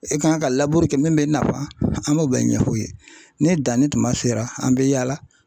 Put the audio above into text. E kan ka laburu kɛ min bɛ i nafa an b'o bɛɛ ɲɛf'u ye ni danni tuma sera an bɛ yaala